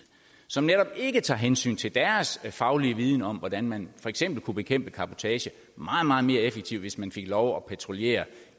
som netop ikke tager hensyn til deres faglige viden om hvordan man for eksempel kunne bekæmpe cabotage meget meget mere effektivt hvis man fik lov at patruljere